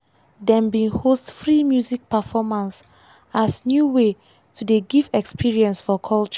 dem bin host free music performance as new way to dey give experience for culture.